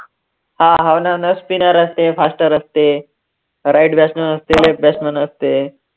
हा हाव न spinner असते, faster असते, right batsman असते left batsman असते,